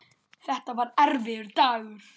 Þetta var erfiður dagur.